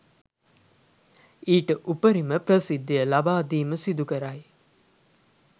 ඊට උපරිම ප්‍රසිද්ධිය ලබාදීම සිදුකරයි.